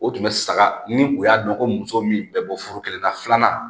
O tun bɛ saga ni u y'a dɔn ko muso min bɛ bɔ foro kelen na filanan